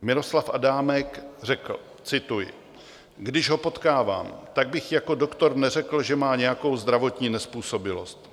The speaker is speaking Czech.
Miroslav Adámek řekl - cituji: "Když ho potkávám, tak bych jako doktor neřekl, že má nějakou zdravotní nezpůsobilost.